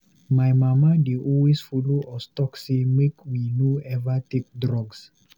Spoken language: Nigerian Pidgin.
My mama dey always follow us talk sey make we no eva take drugs.